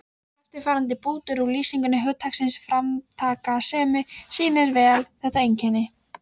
Eftirfarandi bútur úr lýsingu hugtaksins framtakssemi sýnir vel þetta einkenni